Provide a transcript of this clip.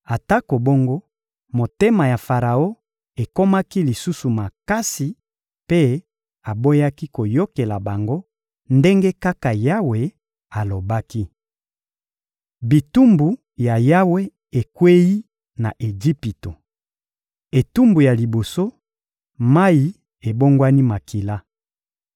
Atako bongo, motema ya Faraon ekomaki lisusu makasi; mpe aboyaki koyokela bango, ndenge kaka Yawe alobaki. Bitumbu ya Yawe ekweyi na Ejipito Etumbu ya liboso: mayi ebongwani makila